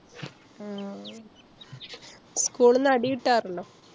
ആഹ് school ന്ന് അടി കിട്ടാറുണ്ടോ?